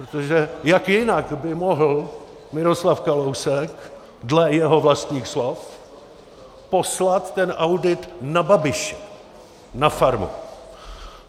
Protože jak jinak by mohl Miroslav Kalousek dle jeho vlastních slov poslat ten audit na Babiše, na farmu?